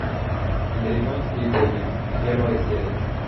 американские боги первая серия